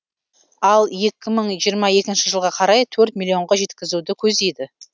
ал екі мың жиырма екінші жылға қарай төрт миллионға жеткізуді көздейді